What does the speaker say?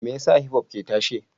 Me yasa Hipop ke tasowa?